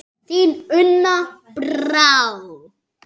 Þín, Una Brá.